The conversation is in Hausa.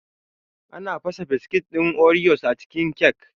Ana fasa biskit ɗin oreos a cikin kyak